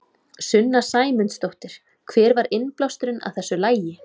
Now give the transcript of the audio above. Sunna Sæmundsdóttir: Hver var innblásturinn að þessu lagi?